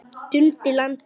Dundi landa!